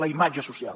la imatge social